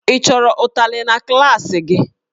Ị chọrọ ụtarị na klaasị gị?